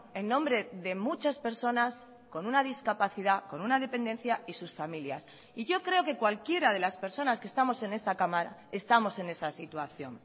en nombre de muchas personas con una discapacidad con una dependencia y sus familias y yo creo que cualquiera de las personas que estamos en esta cámara estamos en esa situación